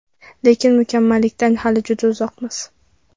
Lekin mukammallikdan hali juda uzoqmiz.